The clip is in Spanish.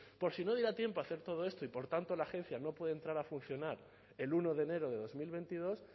por si no diera tiempo a hacer todo esto y por tanto la agencia no puede entrar a funcionar el uno de enero de dos mil veintidós